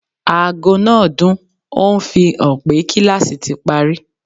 Aago náà dún, ó ń fi hàn pé kíláàsì ti parí